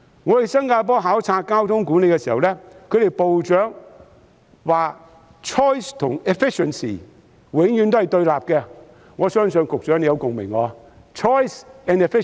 我前往新加坡考察交通管理時，其部長指出 choice 和 efficiency 永遠也是對立的，我相信局長對此也有共鳴。